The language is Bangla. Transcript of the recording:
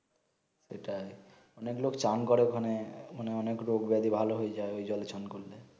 এটাই অনেক লোক চান করে ওখানে ওখানে অনেক রোগ ব্যাধী ভালো হয়ে যায় ঐ জলে চান করলে